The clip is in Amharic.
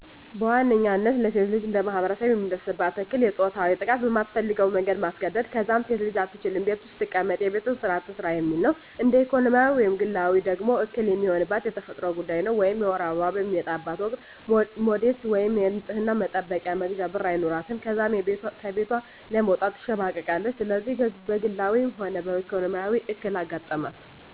በዋነኝነታ ለሴት ልጅ እንደማህበረሰብ የሚደርስባት እክል የፆታዊ ጥቃት በማትፈልገው መንገድ ማስገድ፣ ከዛም ሴት አትችልም ቤት ውስጥ ትቀመጥ የቤቱን ስራ ትስራ የሚል ነው። እንደ ኢኮኖሚያዊ ወይም ግላዊ ደግሞ እክል የሚሆንባት የተፈጥሮ ጉዳይ ነው ወይም የወር አበባዋ በሚመጣበት ወቅት ሞዴስ ወይም የንፅህና መጠበቂያ መግዣ ብር አይኖራትም ከዛም ከቤቷ ለመውጣት ትሸማቀቃለች። ስለዚህ በግላዊ ሆነ በኢኮኖሚ እክል አጋጠማት።